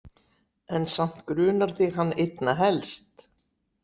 En samt grunar þig hann einna helst?